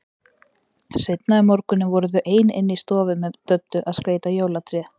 Seinna um morguninn voru þau ein inni í stofu með Döddu að skreyta jólatréð.